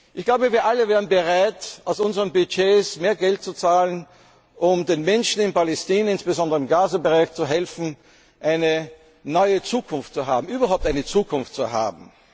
Ich glaube, wir alle wären bereit, aus unseren Budgets mehr Geld zu zahlen, um den Menschen in Palästina, insbesondere im Gazastreifen zu helfen, eine neue Zukunft zu haben, überhaupt eine Zukunft zu haben.